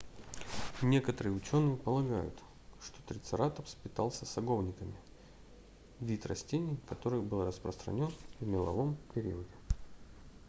некоторые ученые полагают что трицератопс питался саговниками вид растений который был распространен в меловом периоде